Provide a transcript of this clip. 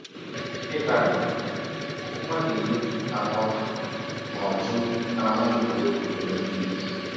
Ịtali “ Pụkụ mmadụ iri atọ nọ jụụ n’Ámá Egwụregwụ Ọlimpịk...